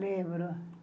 Lembro.